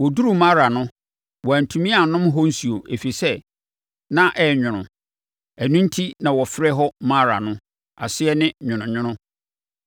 Wɔduruu Mara no, wɔantumi annom ɛhɔ nsuo, ɛfiri sɛ, na ɛyɛ nwono. Ɛno enti na wɔfrɛ hɔ Mara no; aseɛ ne: Nwononwono.